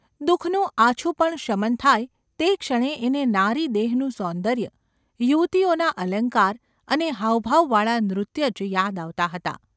દુઃખનું આછું પણ શમન થાય તે ક્ષણે એને નારીદેહનું સૌન્દર્ય, યુવતીઓના અલંકાર અને હાવભાવવાળાં નૃત્ય જ યાદ આવતાં હતાં.